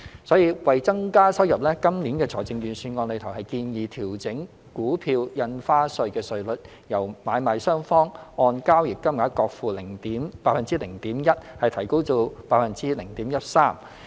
所以，為增加收入，今年度財政預算案建議調整股票印花稅稅率，由買賣雙方按交易金額各付 0.1%， 提高至 0.13%。